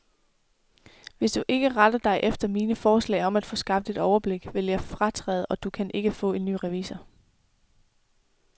Hvis du ikke retter dig efter mine forslag om at få skabt et overblik, vil jeg fratræde, og du kan ikke få en ny revisor.